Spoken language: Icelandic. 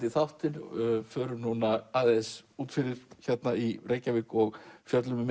í þáttinn förum aðeins út fyrir hérna í Reykjavík og fjöllum um